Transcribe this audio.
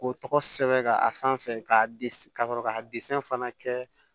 K'o tɔgɔ sɛbɛn ka a sanfɛ ka sɔrɔ ka fana kɛ